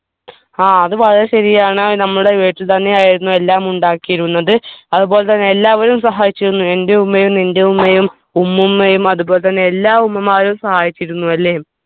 ആ അത് വളരെ ശരിയാണ് നമ്മുടെ വീട്ടിൽ തന്നെ ആയിരുന്നു എല്ലാം ഉണ്ടാക്കിയിരുന്നത് അതുപോലെതന്നെ എല്ലാവരും സഹായിച്ചിരുന്നു ൻ്റെ ഉമ്മയും നിൻ്റെ ഉമ്മയും ഉമ്മൂമ്മയും അത്പോലെ തന്നെ എല്ലാ ഉമ്മമാരും സഹായിച്ചരുന്നു അല്ലെ